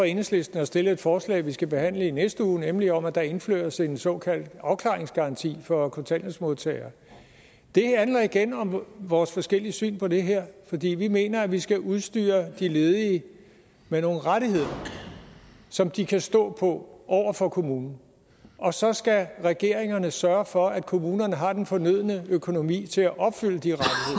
enhedslisten har stillet et forslag vi skal behandle i næste uge nemlig om at der indføres en såkaldt afklaringsgaranti for kontanthjælpsmodtagere det handler igen om vores forskellige syn på det her fordi vi mener at vi skal udstyre de ledige med nogle rettigheder som de kan stå på over for kommunen og så skal regeringen sørge for at kommunerne har den fornødne økonomi til at opfylde de